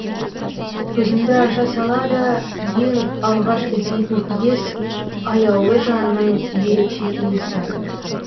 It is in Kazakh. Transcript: көзімді аша сала да ең алғаш іздейтін иіс аяулы жанның ерекше иісі